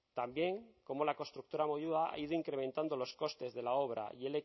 también cómo la constructora moyua ha ido incrementando los costes de la obra y